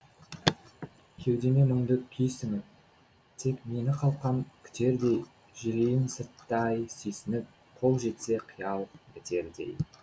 кеудеме мұңды күй сіңіп тек мені қалқам күтердей жүрейін сырттай сүйсініп қол жетсе қиял бітердей